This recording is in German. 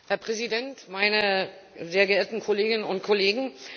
Herr Präsident, meine sehr geehrten Kolleginnen und Kollegen!